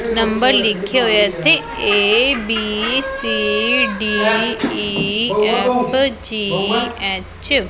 Number ਲਿਖੇ ਹੋਏ ਇੱਥੇ A B C D E F G H.